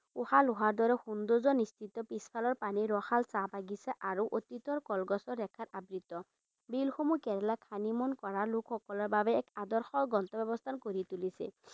সৌন্দৰ্য্য নিহিত পিছফালৰ পানীৰ ৰসাল চাহ বাগিছা আৰু অতীতৰ কলগছৰ ৰেখাত আবৃত বিলসমূহ কেৰেলাক honeymoon কৰা লোকসকলৰ বাবে এক আদৰ্শ গন্তব্যস্থান কৰি তুলিছে।